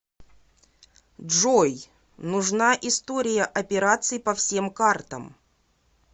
джой нужна история операций по всем картам